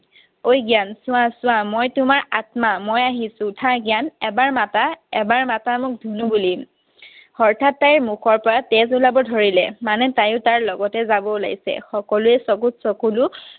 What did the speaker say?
অই, জ্ঞান, চোৱা চোৱা। মই তোমাৰ আত্মা। মই আহিছো। উঠা জ্ঞান, এবাৰ মাতা। এবাৰ মাতা মোক ধুনু বুলি। হঠাৎ তাইৰ মুখৰ পৰা তেজ ওলাব ধৰিলে। মানে তাইয়ো তাৰ লগতে যাব ওলাইছে। সকলোৰে চকুত চকুলো।